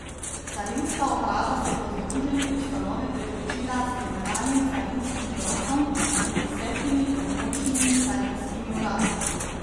Carinska uprava se bo združeni ustanovi priključila z generalnim carinskim uradom in desetimi območnimi carinskimi uradi.